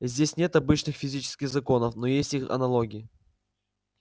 здесь нет обычных физических законов но есть их аналогии